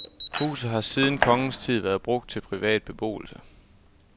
Huset har siden kongens tid været brugt til privat beboelse.